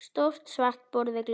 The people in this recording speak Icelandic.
Stórt svart borð við glugga.